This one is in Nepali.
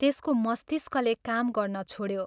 त्यसको मस्तिष्कले काम गर्न छोड्यो।